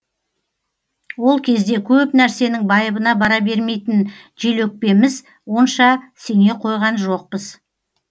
ол кезде көп нәрсенің байыбына бара бермейтін желөкпеміз онша сене қойған жоқпыз